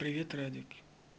привет радик